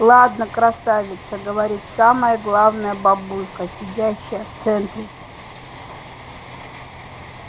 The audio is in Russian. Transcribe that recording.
ладно красавица говорит самая главная бабулька сидящая в центре